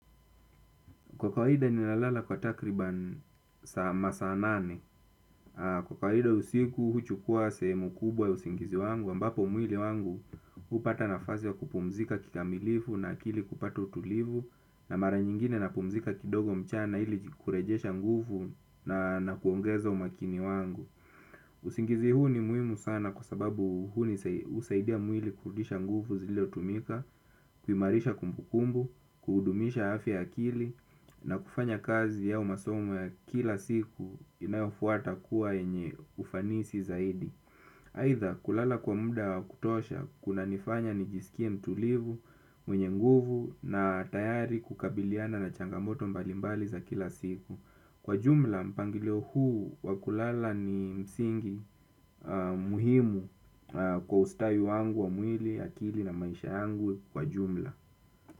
Kwa kawaida ninalala kwa takriban masaa nane. Kwa kawaida usiku huchukua sehemu kubwa wa usingizi wangu. Ambapo mwili wangu upata nafasi wa kupumzika kikamilifu na akili kupata utulivu. Na mara nyingine napumzika kidogo mchana ili kurejesha nguvu na nakuongeza umakini wangu. Usingizi huu ni muhimu sana kwa sababu huni husaidia mwili kurudisha nguvu ziliotumika. Kuimarisha kumbukumbu, kudumisha afya ya akili na kufanya kazi au masomo ya kila siku inayofuata kuwa yenye ufanisi zaidi. Haitha kulala kwa muda wa kutosha kunanifanya nijisikie mtulivu, mwenye nguvu na tayari kukabiliana na changamoto mbalimbali za kila siku. Kwa jumla, mpangilio huu wa kulala ni msingi muhimu kwa ustawi wangu wa mwili, akili na maisha yangu kwa jumla.